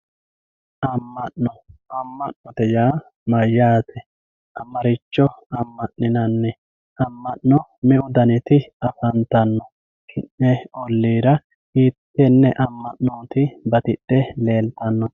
amma'no amma'note yaa mayyate? maricho amma'ninanni? amma'no meu daniti afantanno? ki'ne olliira hiittenne amma'nooti batidhe leeltannoti.